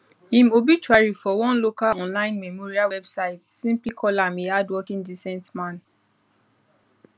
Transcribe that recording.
im obituary for one local online memorial website simply call am a hardworking decent man